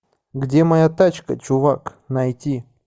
где моя тачка чувак найти